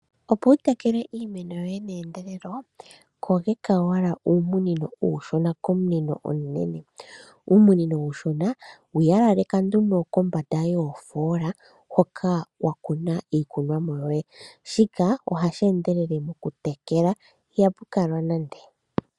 Opo wu tekele iimeno yoye meendelelo, kogeka owala uumunino uushona komunino omunene. Uumunino uushona wu yalaleka nduno kombanda yoofoola hoka wa kuna iikunomwa yoye, shika ohashi endelele okutekela, ihapu kalwa nande.